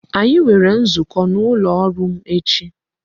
Anyi nwere nzukọ n'ụlọ ọrụ m echi